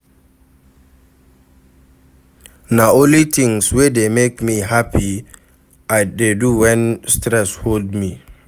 Na only tins wey dey make me hapi I dey do wen stress hold me.